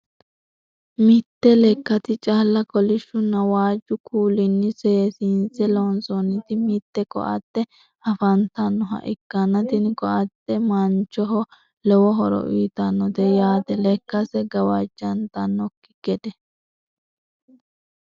mitte lekkati cala kolishunna waaju kulinni seesinise lonsoonnitti mitte koatte afanitannoha ikanna tinni koatte manichoho lowo horo uyiitannotte yaate lekkasi gawajantannoki gedde.